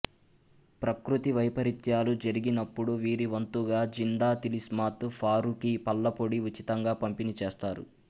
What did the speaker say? ప్రకృతి వైపరీత్యాలు జరిగినప్పుడు వీరి వంతుగా జిందా తిలిస్మాత్ ఫారూఖీ పళ్లపొడి ఉచితంగా పంపిణీ చేస్తారు